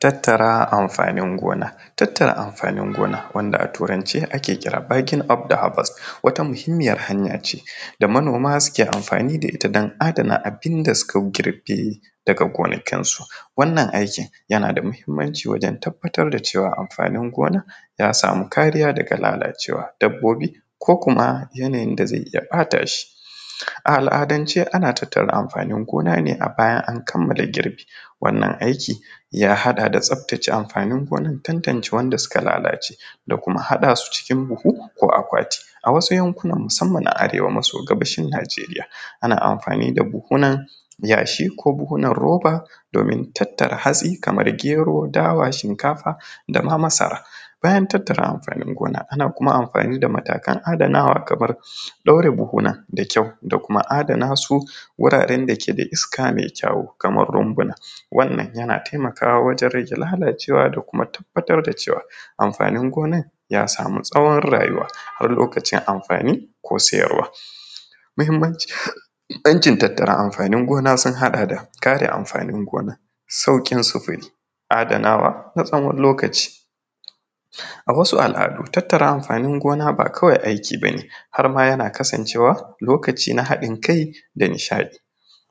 Tattara amfanin gona wanda a turance ake kira backing up wata muhimmiyar hanya ce da manoma suke amfani da ita don adana abin da suka girbe daga gona kinsu wannan aikin yana da muhimmanci wajen tabbatar da cewa amfanin gonan ya samu kariya daga lalacewa dabbobi ko kuma yanayin da zai iya bata shi a al’adance ana tattara amfanin gona ne bayan an kamala girbi, wanda wannan aiki ya haɗa da tsaftace amfanin gonar domin tantance wanda suka lalace da kuma haɗa su cikin buhu ko akwati a wasu yankuna musamman na Arewa maso gabashin Nijeriya ana amfani da buhunan yashi ko buhunan roba domin tattara hatsi kamar gero, dawa, shinkafa dama masara bayan tattara amfanin gona ana kuma amfani da matakan adanawa kamar ɗaure buhu da kyau da kuma adana su wuraren dake da iska mai kyau kamar runbuna, wannan yana taimakawa wajen rage lalacewa da kuma tabbatar da cewa amfanin gonar ya samu tsawon rayuwa har lokacin amfani ko siyarwa, muhimmanci yanayin tattara amfanin gona sun haɗa da kare amfanin gona, saukin sufuri, adanawa na tsawon lokaci, a wasu al’adu tattara amfanin gona ba kawai aiki bane harma yana kasancewa lokaci na haɗin kai da nishaɗi,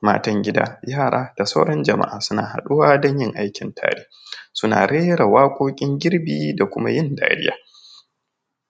matan gida yara da sauran jama’a suna haɗuwa don yin aikin tare suna rera waƙokin girbi da kuma yin dariya.